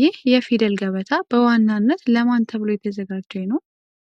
ይህ የፊደል ገበታ በዋናነት ለማን ተብሎ የተዘጋጀ ነው?